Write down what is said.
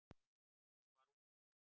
Hún var ung.